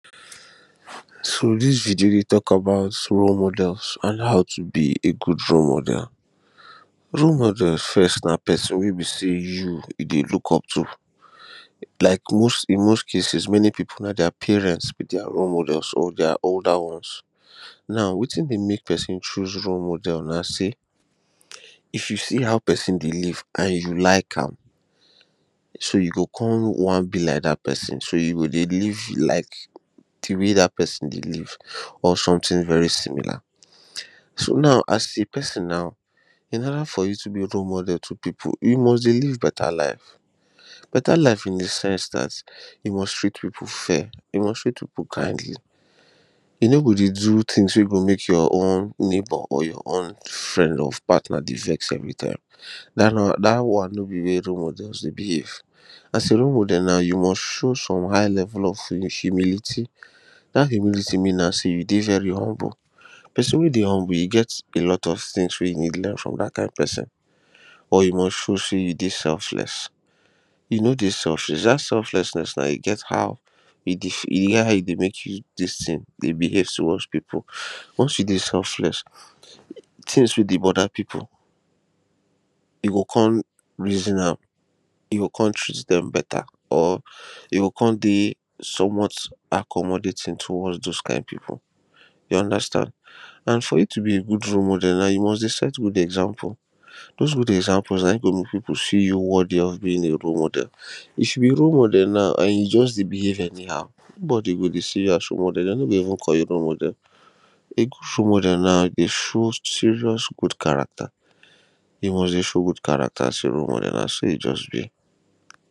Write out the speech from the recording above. so this video dey talk about role models an how to be a good role model role models first na person wey be sey you dey look up to. Like in most cases, many people na their parents be their role models or their older ones now wetin dey make person choose role model na sey if you see how person dey live an you like am so you go come wan be like that person so you go dey live life like the way that person dey live or something very similar. so now as a person now in other for you to be a role model to other people you must dey live beta life. beta life in the sense that you ,ust treat people fair you must treat people kindly you no go dey do things wey go make your own neigbour or your friend or partner dey vex everytime. that one no be the way wey role models dey behave as a role model you must show some high level of humilty that thing mean now sey you go dey very humble person wey dey humble, e get a lot of things wey you need learn from that kind person or you must show sey you dey selfless. e need dey selfless that selflessness, now e get how e get how e dey make you this thing dey behave towards people. once you dey selfless, things wey dey bother people e go come reason am e go come treat them beta or e go come dey somewhat accomodating towards those kind people you understand n for you to be a good role model you must dey set good example those good example na him go make people see you worthy of being a role model if you be role model now an e just dey be bahave anyhow, nobody go dey see you as role model they no go even call you role model a good role model dey show serious good character, e must dey show good character as a role model so na so e just be